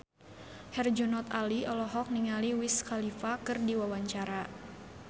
Herjunot Ali olohok ningali Wiz Khalifa keur diwawancara